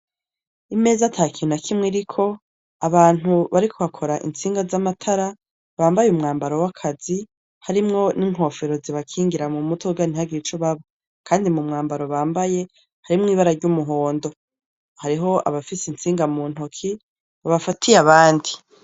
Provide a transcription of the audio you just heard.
Imeza atakina kimwe iriko abantu bariko bakora insinga z'amatara bambaye umwambaro w'akazi harimwo n'inkofero zibakingira mu mutoganttagira ico babo, kandi mu mwambaro bambaye harimwo ibara ry'umuhondo hariho abafise insinga mu ntoki babafatiye abandi.